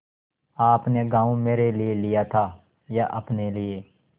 आपने गॉँव मेरे लिये लिया था या अपने लिए